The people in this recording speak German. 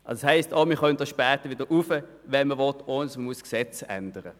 Das bedeutet auch, dass man später die Abgabe wieder erhöhen kann, ohne dafür das Gesetz zu ändern.